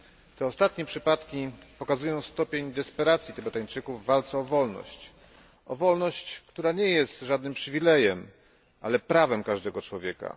Te ostatnie przypadki pokazują stopień desperacji Tybetańczyków w walce o wolność, która nie jest żadnym przywilejem, ale prawem każdego człowieka.